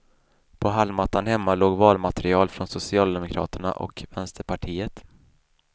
På hallmattan hemma låg valmaterial från socialdemokraterna och vänsterpartiet.